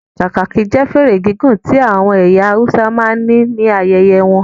Kakaki jẹ́ fèrè gígùn tí àwọn ẹyà Hausa máa ń ní ayẹyẹ won